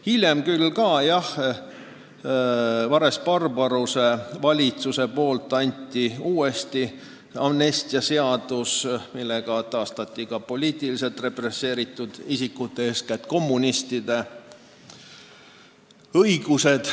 Hiljem võeti küll Vares-Barbaruse valitsuse soovil vastu uus amnestiaseadus, millega taastati poliitiliselt represseeritud isikute, eeskätt kommunistide õigused.